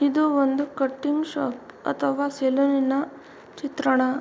ಇದು ಒಂದು cutting shop ಅಥವಾ ಸೆಲೂನಿನ ಚಿತ್ರಣ.